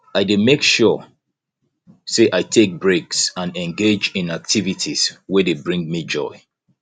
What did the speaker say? i dey make sure say i take breaks and engage in activities wey dey bring me joy